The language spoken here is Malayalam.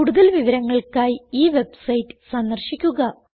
കൂടുതൽ വിവരങ്ങൾക്കായി ഈ വെബ്സൈറ്റ് സന്ദർശിക്കുക